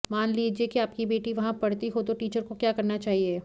मान लीजिए कि आपकी बेटी वहां पढ़ती हो तो टीचर को क्या करना चाहिए